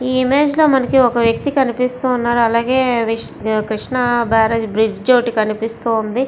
ఈ ఇమేజ్ లో మనకు వక వ్యక్తి కనిపిస్తున్నాడు. కృష్ణ బరేజ్ బ్రిడ్జి కనిపిస్తుంది.